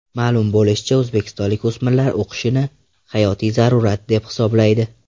Ma’lum bo‘lishicha, o‘zbekistonlik o‘smirlar o‘qishni hayotiy zarurat, deb hisoblaydi.